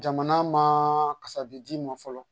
Jamana ma kasabi d'i ma fɔlɔ